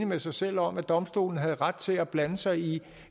med sig selv om at domstolen havde ret til at blande sig i